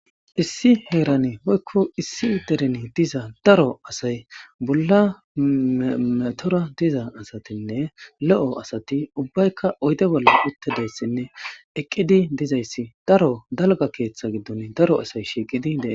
Issi heerane hoykko issi dereni diza daro asay bolla metora diza asatinne lo7o asati ubbaykka oyde bolla uttedayssinne eqqidi dizayssi daro dalga keeththa giddon daro asay shiiqidi deen.